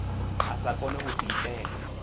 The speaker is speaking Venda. a sa kone u diitela